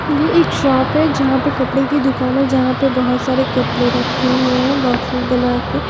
ये एक शॉप है यहां पे कपड़े की दुकान है यहां पे बहुत सारे कपड़े रखे हुए हैं बॉक्सेज बना के।